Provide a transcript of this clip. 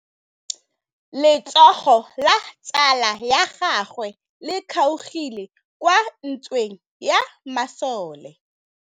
Letsôgô la tsala ya gagwe le kgaogile kwa ntweng ya masole.